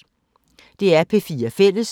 DR P4 Fælles